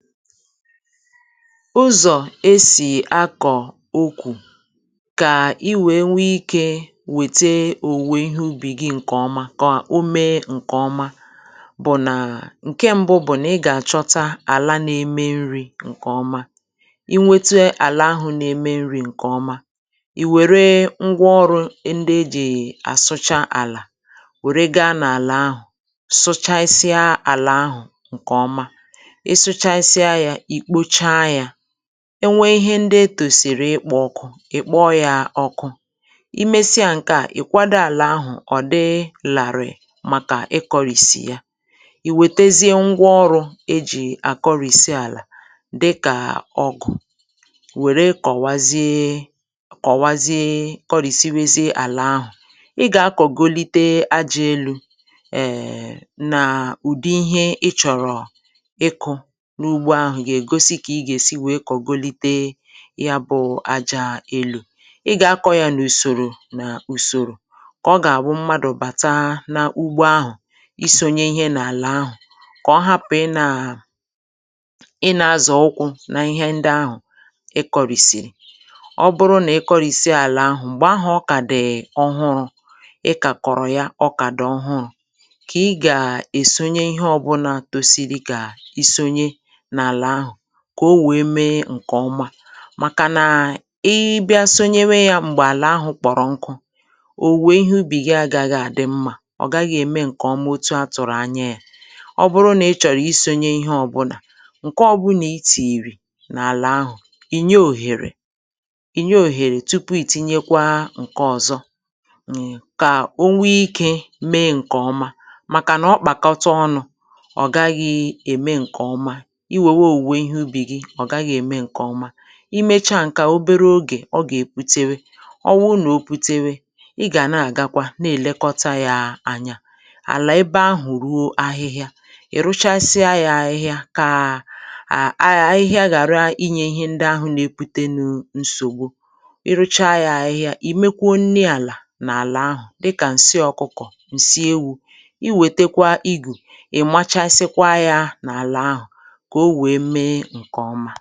ụzọ̀ esì akọ̀ okwù kà i wèe nwee ikė wète òwùwè ihe ubì gị̇ ǹkè ọma kọ̀ o mee ǹkè ọma bụ̀ nà ǹke mbụ bụ̀ nà ị gà-àchọta àla na-eme nri̇ ǹkè ọma i nwėtu ala ahụ̀ na-eme nri̇ ǹkè ọma ì wère ngwa ọrụ̇ ndị ejì àsụcha àlà wère gaa n’àlà ahụ̀ sụchasịa àlà ahụ̀ ǹkè ọma enwe ihe ndi e tòsìrì ịkpọ̇ ọkụ̇ ị kpọọ yȧ ọkụ i mesịa ǹke à i kwado àlà ahụ̀ ọ̀ dị làrị̀ màkà ikọrìsì ya ì wètezie ngwa ọrụ̇ e jì àkọrìsi àlà dịkà ọgụ̀ wère kọ̀wazie kọ̀wazie kọrìsiri wezie àlà ahụ̀ ị gà-akọ̀golite ajȧ elu̇ èèè [filler] na ụ̀dị ihe i chọ̀rọ̀ yá bụ̀ aja elù ị gà-akọ̇ yȧ nà ùsòrò nà ùsòrò kà ọ gà-àbụ mmadụ̀ bàta n’ugbọ ahụ̀ isȯnye ihe n’àlà ahụ̀ kà ọ hapụ̀ ị nȧ- ị nȧ-azọ̀ ụkwụ̇ n’ihe ndị ahụ̀ ị kọ̀rìsìrì ọ bụrụ nà ị kọ̀rìsìa àlà ahụ̀ m̀gbè ahụ̀ ọ kà dèe ọhụrụ̇ ị kà kọ̀rọ̀ ya ọ kà dì ọhụrụ̇ kà ị gà-èsonye ihe ọbụlà kà o wèe mee ǹkè ọma màkà nà i bịa sonyewe yȧ m̀gbè àlà ahụ̀ kpọ̀rọ̀ nkụ ò wèe ihe ubì gị agà àdị mmȧ ọ gaghị̇ ème ǹkè ọmatu a tụ̀rụ̀ anya yȧ ọ bụrụ nà ị chọ̀rọ̀ isȯnye ihe ọ̇bụ̇nà ǹke ọbụlà i tììrì n’àlà ahụ̀ ìnye òhèrè ìnye òhèrè tupu ì tinyekwa ǹke ọ̀zọ ọ̀ gaghị̇ ème ǹkè ọma i mecha ǹkẹ̀ obere ogè ọ gà-èputere ọ wụ nà o putewe ị gà nà-àgakwa na èlekọta ya anya àlà ebe ahụ̀ ruo ahịhịa ì ruchasịa ya ahịhịa kà à a yaghị̇a ghàra inyė ihe ndị ahụ̀ nà-epute nụ̇ nsògbu i ruchȧȧ ya ahịhịa ì mekwa onye àlà n’àlà ahụ̀ dịkà ǹsị ọkụkọ̀ ǹsị ewu̇ i wètekwa igù ì̀ machasịkwa ya n’àlà ahụ̀ e nke ọmà [tone rise]